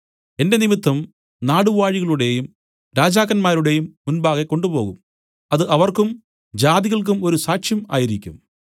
എന്റെ നിമിത്തം നാടുവാഴികളുടേയും രാജാക്കന്മാരുടേയും മുമ്പാകെ കൊണ്ടുപോകും അത് അവർക്കും ജാതികൾക്കും ഒരു സാക്ഷ്യം ആയിരിക്കും